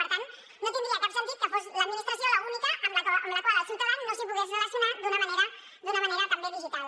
per tant no tindria cap sentit que fos l’administració l’única amb la qual el ciutadà no es pogués relacionar d’una manera també digital